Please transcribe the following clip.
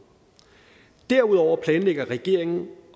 derudover planlægger regeringen